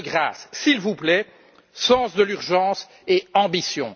De grâce, s'il vous plaît, sens de l'urgence et ambition!